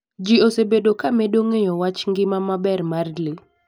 Ji osebedo ka medo ng'eyo wach ngima maber mar le.